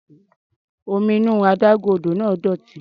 Omi inú adágún odò náà dọ̀tí.